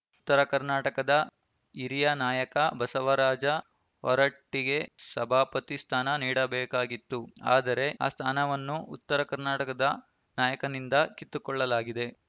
ಉತ್ತರ ಕರ್ನಾಟಕದ ಹಿರಿಯ ನಾಯಕ ಬಸವರಾಜ ಹೊರಟ್ಟಿಗೆ ಸಭಾಪತಿ ಸ್ಥಾನ ನೀಡಬೇಕಾಗಿತ್ತು ಆದರೆ ಆ ಸ್ಥಾನವನ್ನೂ ಉತ್ತರ ಕರ್ನಾಟಕದ ನಾಯಕನಿಂದ ಕಿತ್ತುಕೊಳ್ಳಲಾಗಿದೆ